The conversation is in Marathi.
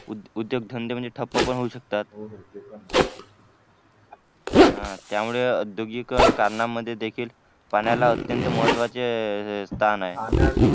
उद्योग धंदे माझे ठप्प पण होऊ शकतात हा त्यामुळे औद्योगिकीकरणांमध्ये देखील पाण्याला अत्यंत महत्त्वाचे स्थान आहे.